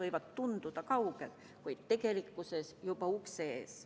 See aeg võib tunduda kaugena, kuid tegelikkuses on juba ukse ees.